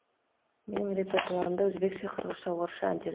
менің репертуарымда өзбекше қырғызша орысша әндер